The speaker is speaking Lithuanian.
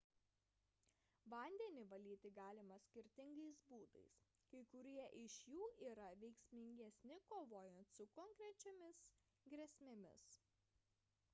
vandenį valyti galima skirtingais būdais kai kurie iš jų yra veiksmingesni kovojant su konkrečiomis grėsmėmis